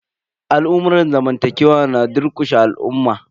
Al'amurran zamantakewa na durƙushe al'umma.